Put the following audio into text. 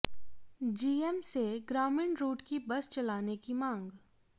GM से ग्रामीण route पर बस चलाने की मांग